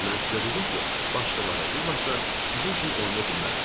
Mən sizə dedim ki, başqaları illat da sizin üçün oynaya bilmərəm.